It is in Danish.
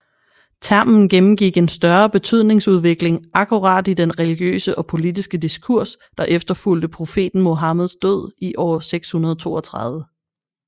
Termen gennemgik en større betydningsudvikling akkurat i den religiøse og politiske diskurs der efterfulgte profeten Muhammeds død i år 632